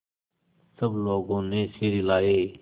सब लोगों ने सिर हिलाए